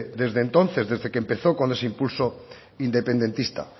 desde entonces desde que empezó con ese impulso independentista